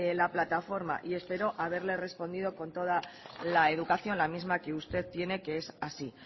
la plataforma y espero haberle respondido con toda la educación la misma que usted tiene que es así